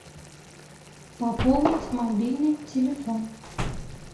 пополнить мобильный телефон